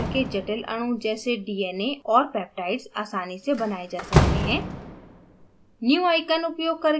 avogadro उपयोग करके जटिल अणु जैसे dna और peptides आसानी से बनाये जा सकते हैं